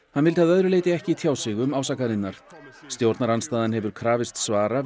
hann vildi að öðru leyti ekki tjá sig um ásakanirnar stjórnarandstaðan hefur krafist svara